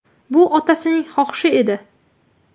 Bu otasining xohishi edi.